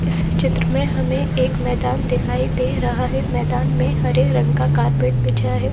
इस चित्र में हमें एक मैदान दिखाई दे रहा है मैदान में हरे रंग का कारपेट बिछाया है।